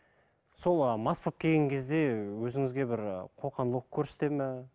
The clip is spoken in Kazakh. сол ы мас болып келген кезде өзіңізге бір ы қоқан лоққы көрсетеді ме